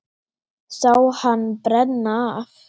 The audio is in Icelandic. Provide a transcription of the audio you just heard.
Sá hann brenna af.